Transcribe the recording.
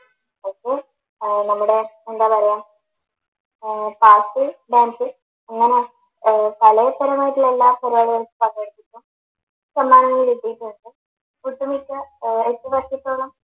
നമ്മടെ എന്താ പറയാ ഏർ പാട്ട്, ഡാൻസ് അങ്ങനെ എല്ലാ പരിപാടികൾക്കും പങ്കെടുത്തിട്ടും സമ്മാനങ്ങൾ കിട്ടിയിട്ടുമുണ്ട് ഒട്ടുമിക്ക ഏർ എട്ടു വർഷത്തോളം